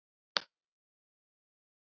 Þakka þér fyrir, kæri frændi.